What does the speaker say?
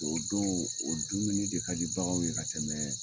O don o dumuni de ka di baganw ka tɛmɛn.